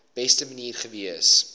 beste manier gewees